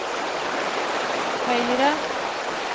høyre